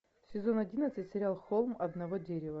сезон одиннадцать сериал холм одного дерева